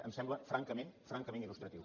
em sembla francament francament il·lustratiu